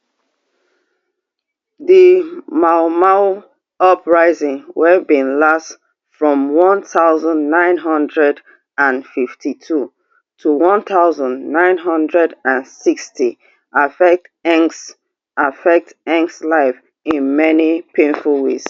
di mau mau uprising wey bin last from one thousand, nine hundred and fifty-two to one thousand, nine hundred and sixty affect affect life in many painful ways